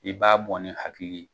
I b'a bɔ ni hakili ye.